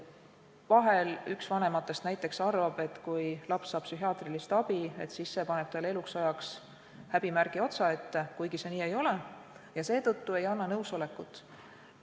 Vahel üks vanematest näiteks arvab, et kui laps saab psühhiaatrilist abi, siis see paneb talle eluks ajaks häbimärgi otsaette, kuigi see nii ei ole, ja seetõttu ei anna nõusolekut.